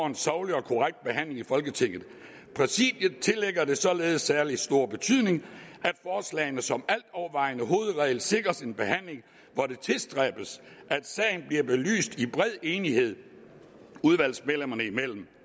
en saglig og korrekt behandling i folketinget præsidiet tillægger det således særlig stor betydning at forslagene som altovervejende hovedregel sikres en behandling hvor det tilstræbes at sagen bliver belyst i bred enighed udvalgsmedlemmerne imellem